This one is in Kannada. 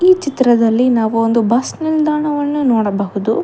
ಈ ಚಿತ್ರದಲ್ಲಿ ನಾವು ಒಂದು ಬಸ್ ನಿಲ್ದಾಣವನ್ನು ನೋಡಬಹುದು.